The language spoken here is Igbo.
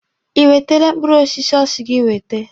Ị wetere mkpụrụ osisi ọ sị gị wete?